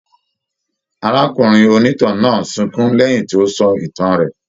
Arákùnrin onítàn náà sunkún lẹyìn tí o sọ ìtàn rẹ.